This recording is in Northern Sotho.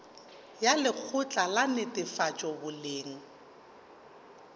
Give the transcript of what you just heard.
ya lekgotla la netefatšo boleng